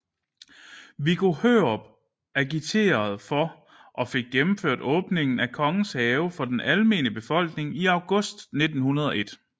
Viggo Hørup agiterede for og fik gennemført åbningen af Kongens Have for den almene befolkning i august 1901